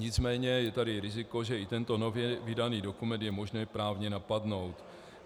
Nicméně je tady riziko, že i tento nově vydaný dokument je možno právně napadnout.